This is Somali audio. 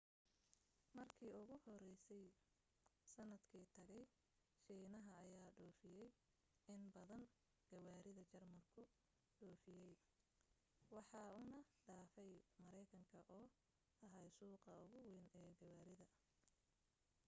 markii ugu horeysay sanadkii tagay shiinaha ayaa dhoofiyay in badan gawaarida jarmalku dhoofiyo waxa uuna dhaafay mareykanka oo ahaa suuqa ugu weyn ee gawaarida